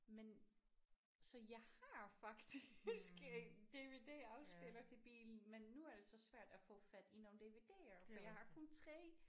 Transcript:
Men så jeg har faktisk en DVD-afspiller til bilen men nu er det så svært at få fat i nogle DVD'er for jeg har kun 3